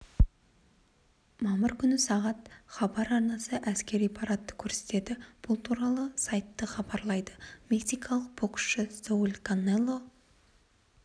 мамыр күні сағат хабар арнасы әскери парадты көрсетеді бұл туралы сайты хабарлайды мексикалық боксшы сауль канело